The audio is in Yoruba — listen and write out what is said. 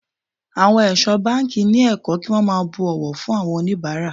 Àwọn ẹ̀ṣọ́ báńkì ni ẹ̀kọ́ kí wón máa bu ọ̀wọ̀ fún oníbàárà.